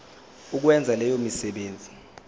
ukwenza leyo misebenzi